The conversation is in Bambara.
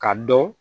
Ka dɔn